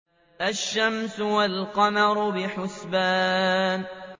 الشَّمْسُ وَالْقَمَرُ بِحُسْبَانٍ